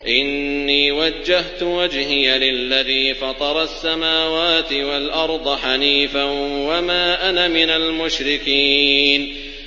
إِنِّي وَجَّهْتُ وَجْهِيَ لِلَّذِي فَطَرَ السَّمَاوَاتِ وَالْأَرْضَ حَنِيفًا ۖ وَمَا أَنَا مِنَ الْمُشْرِكِينَ